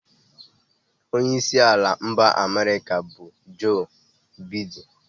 Onye isi ala mba America bu Joe Biden